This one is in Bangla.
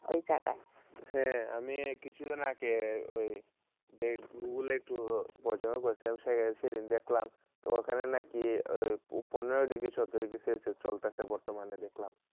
ঐ জাগায় হয়ে আমি কিসুদীন আগেই গুগলে একটু সিন দেখলাম পোঁদ degree সলতেসে বর্তমানে দেখলাম